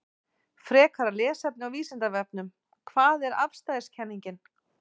Frekara lesefni á Vísindavefnum: Hvað er afstæðiskenningin?